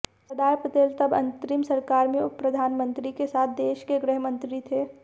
सरदार पटेल तब अंतरिम सरकार में उपप्रधानमंत्री के साथ देश के गृहमंत्री थे